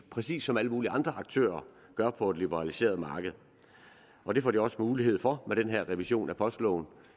præcis som alle mulige andre aktører gør på et liberaliseret marked og det får de også mulighed for med den her revision af postloven